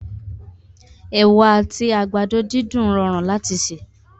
Ewa àti àgbàdo dídùn rọrùn láti sè